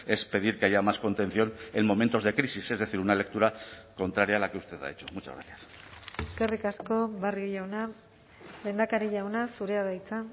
es pedir que haya más contención en momentos de crisis es decir una lectura contraria a la que usted ha hecho muchas gracias eskerrik asko barrio jauna lehendakari jauna zurea da hitza